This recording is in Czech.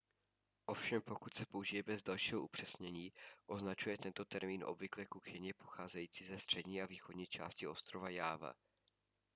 ovšem pokud se použije bez dalšího upřesnění označuje tento termín obvykle kuchyni pocházející ze střední a východní části ostrova jáva